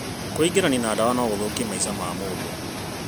Kwĩingĩrania na ndawa no gũthũkie maica ma mũndũ.